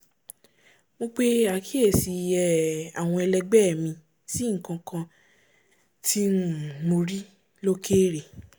mo pe àkíyèsí um àwọn ẹlẹgbẹ́ mi sí nkankan tí um mo rí lókèrè